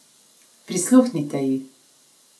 Prisluhnite ji!